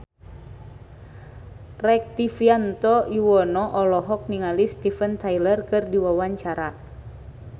Rektivianto Yoewono olohok ningali Steven Tyler keur diwawancara